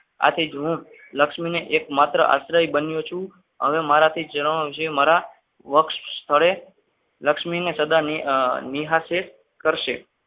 આથી જૂનું લક્ષ્મીનો એકમાત્ર આશ્રય બન્યો છું હવે મારાથી જણાવવામાં આવશે મારા વક્ષસ્થ સ્થળે લક્ષ્મીને સદા નિહાર છે પૂજા કરશે.